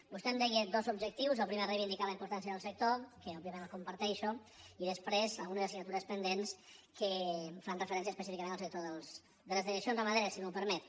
vostè em deia dos objectius el primer reivindicar la importància del sector que òbviament el comparteixo i després algunes assignatures pendents que fan referència específicament al sector de les dejeccions ramaderes si m’ho permet